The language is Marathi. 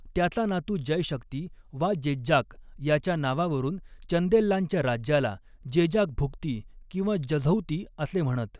त्याचा नातू जयशक्ती वा जेज्जाक याच्या नावावरून चंदेल्लांच्या राज्याला जेजाकभुक्ती किंवा जझौती असे म्हणत.